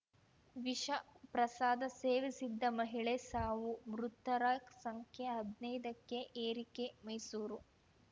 ವಿಷ ಪ್ರಸಾದ ಸೇವಿಸಿದ್ದ ಮಹಿಳೆ ಸಾವು ಮೃತರ ಸಂಖ್ಯೆ ಹದ್ನೈದಕ್ಕೆ ಏರಿಕೆ ಮೈಸೂರು